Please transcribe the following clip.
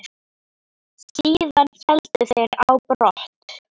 Síðan héldu þeir á brott.